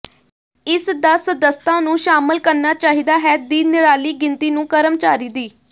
ਇਸ ਦਾ ਸਦੱਸਤਾ ਨੂੰ ਸ਼ਾਮਲ ਕਰਨਾ ਚਾਹੀਦਾ ਹੈ ਦੀ ਨਿਰਾਲੀ ਗਿਣਤੀ ਨੂੰ ਕਰਮਚਾਰੀ ਦੀ